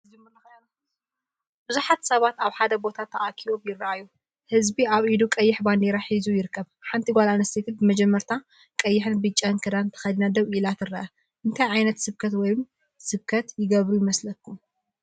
ብዙሓት ሰባት ኣብ ሓደ ቦታ ተኣኪቦም ይረኣዩ። ህዝቢ ኣብ ኢዱ ቀያሕ ባንዴራ ሒዙ ይርከብ። ሓንቲ ጓል ኣንስተይቲ ብመጀመርታ ቀይሕን ብጫን ክዳን ተኸዲና ደው ኢላ ትርአ። እንታይ ዓይነት ስብከት ወይ ስብከት ይገብሩ ይመስለኩም?